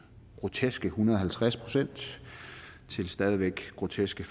groteske hundrede og halvtreds procent til det stadig væk groteske